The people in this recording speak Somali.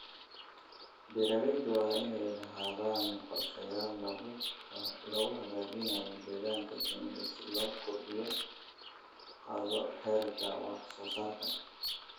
Beeralayda waa inay lahaadaan qorshayaal lagu hagaajinayo deegaanka shinida si kor loogu qaado heerka wax soo saarka.